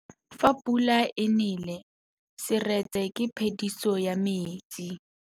Fa pula e nelê serêtsê ke phêdisô ya metsi.